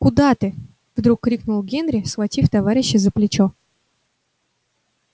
куда ты вдруг крикнул генри схватив товарища за плечо